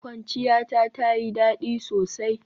Kwanciyata tayi dadi sosai.